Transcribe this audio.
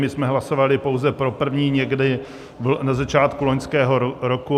My jsme hlasovali pouze pro první, někdy na začátku loňského roku.